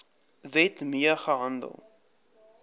wet mee gehandel